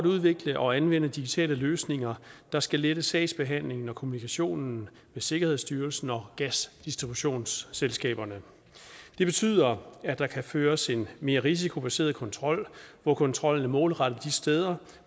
udvikle og anvende digitale løsninger der skal lette sagsbehandlingen og kommunikationen med sikkerhedsstyrelsen og gasdistributionsselskaberne det betyder at der kan føres en mere risikobaseret kontrol hvor kontrollen er målrettet de steder